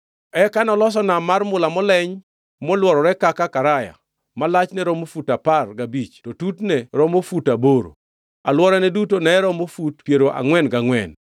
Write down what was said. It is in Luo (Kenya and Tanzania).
Eka noloso Nam mar mula moleny, molworore kaka karaya, ma lachne romo fut apar gabich to tutne romo fut aboro. Alworane duto ne romo fut piero angʼwen gangʼwen.